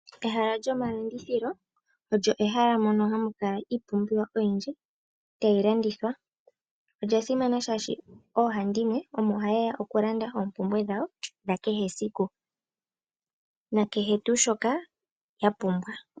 Ehala lyomalandithilo olyo ehala moka hamu kala iipumbiwa oyindji tayi landithwa. Ehala ndika olya simana oshoka aantu pawuhandimwe omo haye ya okulanda oompumbwe dhawo dha kehe esiku, na kehe tuu shoka ya pumbwa.